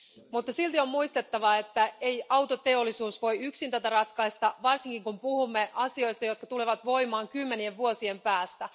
Mutta silti on muistettava, että ei autoteollisuus voi yksin tätä ratkaista, varsinkin kun puhumme asioista, jotka tulevat voimaan kymmenien vuosien päästä.